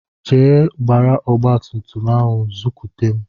Jee gbara ọgbatumtum ahụ zukwute m!